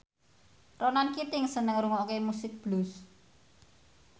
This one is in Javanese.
Ronan Keating seneng ngrungokne musik blues